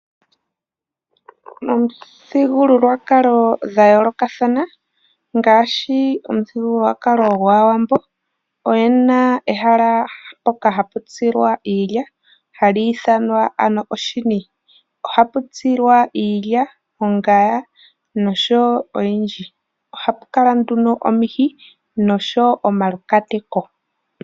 Momithigululwakalo dha yoolokathana ngaashi omuthigululwakalo gwAawambo oye na ehala mpoka hapu tsilwa iilya hali ithanwa oshini. Ohapu tsilwa iilya, ongaya noshowo oyindji. Ohapu kala nduno omihi noshowo omaluhwati.